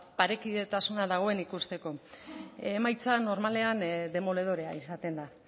parekidetasuna dagoen ikusteko emaitza normalean demoledorea izaten da